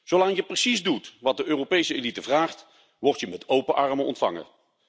Zolang je precies doet wat de Europese elite vraagt, word je met open armen ontvangen.